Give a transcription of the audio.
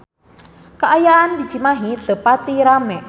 Kaayaan di Cimahi teu pati rame